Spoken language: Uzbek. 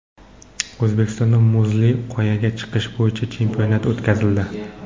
O‘zbekistonda muzli qoyaga chiqish bo‘yicha chempionat o‘tkazildi.